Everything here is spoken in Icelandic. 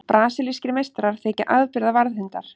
Brasilískir meistarar þykja afburða varðhundar.